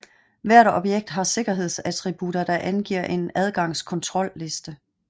Hvert objekt har sikkerhedsattributter der angiver en adgangskontrolliste